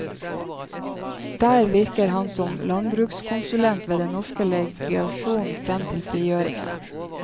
Der virket han som landbrukskonsulent ved den norske legasjonen frem til frigjøringen.